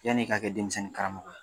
Yan'i ka kɛ denmisɛnni karamɔgɔ ye